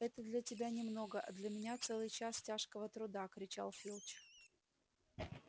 это для тебя немного а для меня целый час тяжкого труда кричал филч